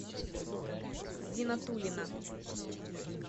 зинатулина